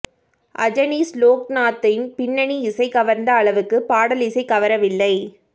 அஜனீஷ் லோக்நாத்தின் பின்னணி இசை கவர்ந்த அளவுக்கு பாடலிசை கவரவில்லை